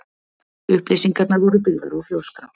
Upplýsingarnar voru byggðar á Þjóðskrá.